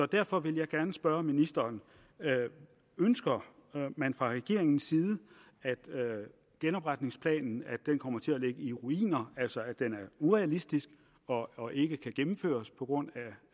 derfor vil jeg gerne spørge ministeren ønsker man fra regeringens side at genopretningsplanen kommer til at ligge i ruiner altså at den er urealistisk og og ikke kan gennemføres på grund